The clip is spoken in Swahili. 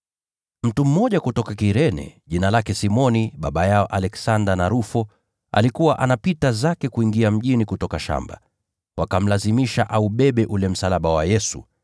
Mtu mmoja kutoka Kirene, jina lake Simoni, baba yao Aleksanda na Rufo, alikuwa anapita zake kuingia mjini kutoka shamba, nao wakamlazimisha kuubeba ule msalaba.